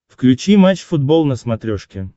включи матч футбол на смотрешке